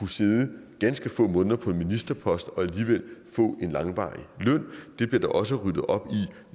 sidde ganske få måneder på en ministerpost og alligevel få en langvarig løn det bliver der også ryddet op